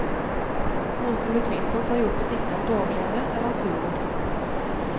Noe som utvilsomt har hjulpet dikteren til å overleve, er hans humor.